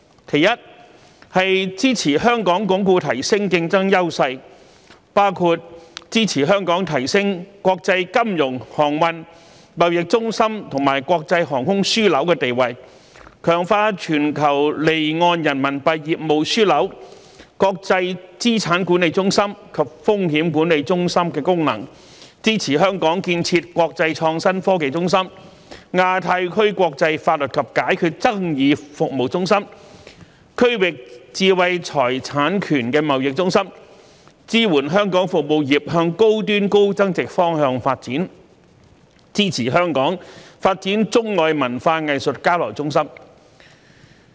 其一，是支持香港鞏固提升競爭優勢，包括支持香港提升國際金融、航運、貿易中心和國際航空樞紐地位，強化全球離岸人民幣業務樞紐、國際資產管理中心及風險管理中心功能，支持香港建設國際創新科技中心、亞太區國際法律及解決爭議服務中心、區域知識產權貿易中心，支持香港服務業向高端高增值方向發展，支持香港發展中外文化藝術交流中心。